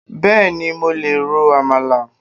Bẹ́ẹ̀ni, mo lè ro Amala